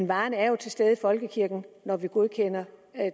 varen er jo til stede i folkekirken når vi godkender